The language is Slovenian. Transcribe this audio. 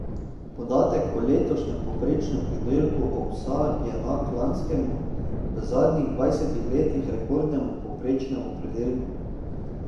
Podatek o letošnjem povprečnem pridelku ovsa je enak lanskemu, v zadnjih dvajsetih letih rekordnemu povprečnemu pridelku.